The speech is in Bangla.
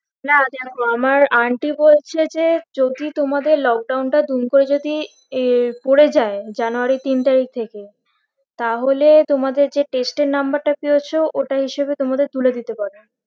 না দেখো আমার aunty বলছে যে যদি তোমাদের lockdwon টা দুম করে যদি এ পরে যাই january ইর তিন তারিখ থাকে তাহলে তোমাদের যে test এর number টা পেয়েছো ওটা হিসেবে তোমাদের তুলে দিতে পারে